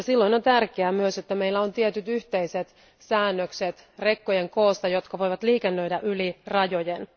Ja silloin on tärkeää myös, että meillä on tietyt yhteiset säännökset rekkojen koosta, jotka voivat liikennöidä yli rajojen.